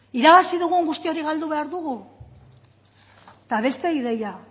irabazi dugun guzti hori galdu behar dugu eta beste ideia